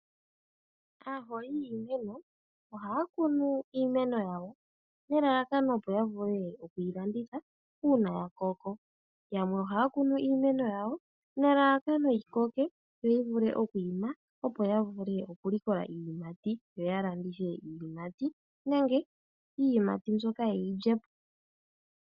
Aaholi yiimeno ohaya kunu iimeno yawo nelalakano opo ya vule okwii landitha uuna ya koko. Yamwe ohaya kunu iimeno yawo nelalakano yikoke yo yivule okwiima opo ya vule oku likola iiyimati, yo ya landithe iiyimati nenge iiyimati mbyoka yeyi lyepo.